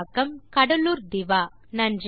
தமிழாக்கம் கடலூர் திவா